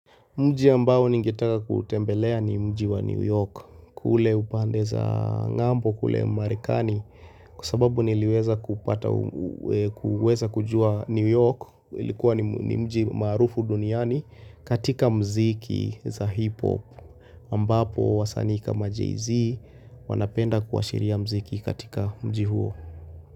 Mji ambao ningetaka kutembelea ni mji wa New York kule upande za ng'ambo kule marekani kwa sababu niliweza kupata kuweza kujua New York ilikuwa ni mji maarufu duniani katika mziki za hip hop ambapo wasanii kama JayZ wanapenda kuashiria mziki katika mji huo.